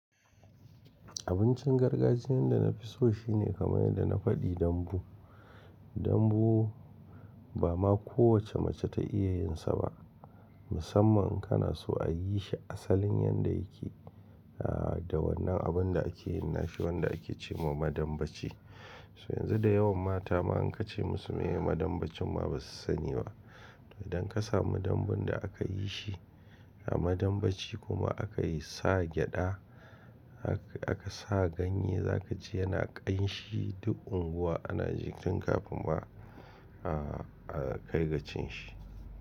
Abincin gargajiyan da na fi so shine kamar yadda na faɗi dambu. Dambu ba ma kowacce mace ta iya yin sa ba, musamman in kana so a yi shi asalin yadda yake da wannan abin da ake yin nashi wanda ake ce wa madambaci. So yanzu da yawan mata ma in ka ce musu muyi madambaci ma ba su sani ba. Idan ka samu dambun da aka yi shi a madambaci kuma akayi sa gyada aka sa ganye zaka ji yana ƙanshi duk unguwa ana ji tun kafin ma a kai ga cin shi.